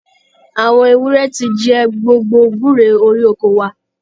Àwọn ewúrẹ́ ti jẹ gbogbo gúre orí oko wa.